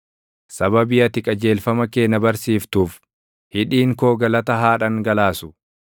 Sababii ati qajeelfama kee na barsiiftuuf, hidhiin koo galata haa dhangalaasu.